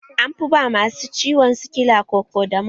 An fi ba masu ciwon sikila Kokodamol